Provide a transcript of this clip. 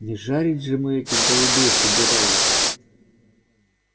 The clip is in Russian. не жарить же мы этих голубей собирались